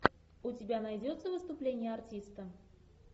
у тебя найдется выступление артиста